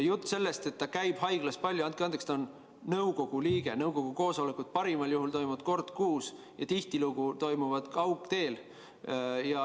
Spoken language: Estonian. Jutt sellest, et ta käib palju haiglas – andke andeks, ta on nõukogu liige, nõukogu koosolekud toimuvad parimal juhul kord kuus ja tihtilugu kaugteel.